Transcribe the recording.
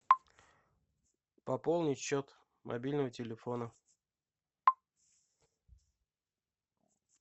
пополнить счет мобильного телефона